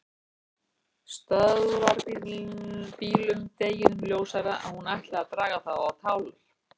Stöðvarbílum, deginum ljósara að hún ætlaði að draga þá á tálar.